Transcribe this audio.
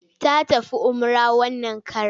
Ta tafi umrah wannan karon.